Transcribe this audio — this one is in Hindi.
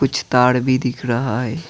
कुछ तार भी दिख रहा है।